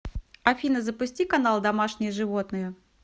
афина запусти канал домашние животные